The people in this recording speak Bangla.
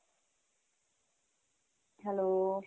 hello.